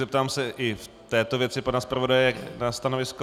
Zeptám se i v této věci pana zpravodaje na stanovisko.